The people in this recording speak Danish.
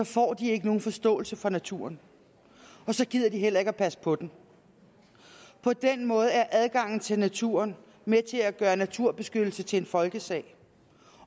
får de ikke nogen forståelse for naturen og så gider de heller ikke at passe på den på den måde er adgangen til naturen med til at gøre naturbeskyttelse til en folkesag